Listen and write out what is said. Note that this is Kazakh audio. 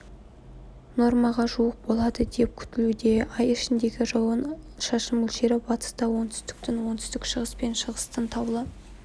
нормаға жуық болады деп күтілуде ай ішіндегі жауын-шашын мөлшері батыста оңтүстіктің оңтүстік-шығыс пен шығыстың таулы